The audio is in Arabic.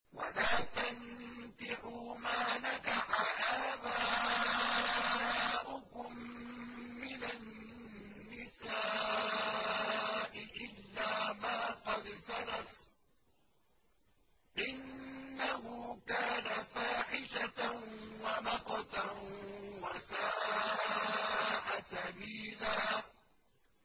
وَلَا تَنكِحُوا مَا نَكَحَ آبَاؤُكُم مِّنَ النِّسَاءِ إِلَّا مَا قَدْ سَلَفَ ۚ إِنَّهُ كَانَ فَاحِشَةً وَمَقْتًا وَسَاءَ سَبِيلًا